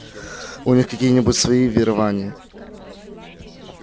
у них какие-нибудь свои верования